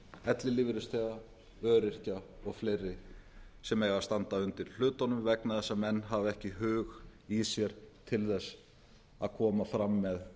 ellilífeyrisþega öryrkja og fleiri sem eiga að standa undir hlutunum vegna þess að menn hafa ekki hug í sér til þess að koma